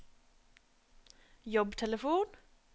jobbtelefon